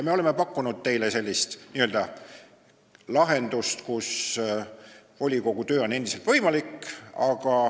Me oleme pakkunud teile sellist lahendust, kus volikogu töö oleks endiselt võimalik.